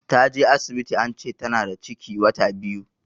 Ta je asibiti ance Tana da ciki wata biyu.